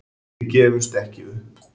Við gefumst ekki upp